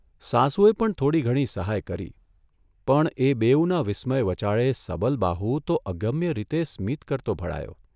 સાસુએ પણ થોડી ઘણી સહાય કરી, પણ એ બેઉના વિસ્મય વચાળે સબલબાહુ તો અગમ્ય રીતે સ્મિત કરતો ભળાયો